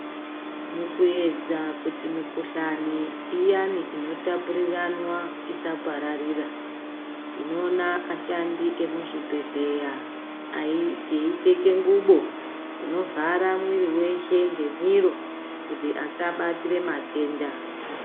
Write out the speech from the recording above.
Mukuedza kuti mikhuhlani iyani inotapuriranwa isapararira tinoona ashandi emuzvibhedhlera eipfeke ngubo inovhara mwiri weshe ngemiro kuti vasabatira matenda.